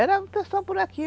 Era o pessoal por aqui.